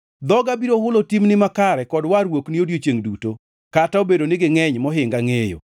Dhoga biro hulo timni makare, kod warruokni odiechiengʼ duto, kata obedo ni gingʼeny mohinga ngʼeyo.